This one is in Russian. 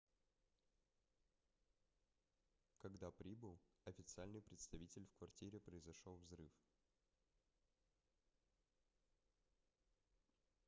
когда прибыл официальный представитель в квартире произошел взрыв